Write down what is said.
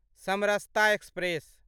Samarsata express